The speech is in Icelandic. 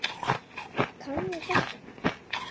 Kann ég þetta?